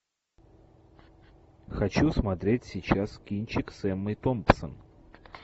хочу смотреть сейчас кинчик с эммой томпсон